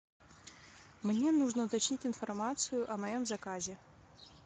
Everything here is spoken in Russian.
мне нужно уточнить информацию о моем заказе